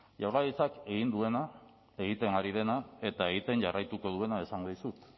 jaurlaritzak egin duena egiten ari dena eta egiten jarraituko duena esango dizut